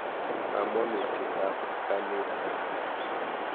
Kamonutiet ap kanetik.